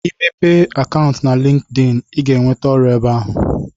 Ị mepee akantụ na linkeein ị ga ewente ọrụ ebe ahụ